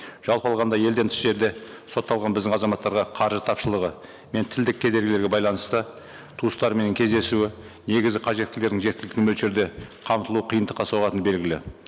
жалпы алғанда елден тыс жерде сотталған біздің азматтарға қаржы тапшылығы мен тілдік кедергілерге байланысты туыстарыменен кездесуі негізгі қажеттілерін жеткілікті мөлшерде қамтылу қиындыққа соғатыны белгілі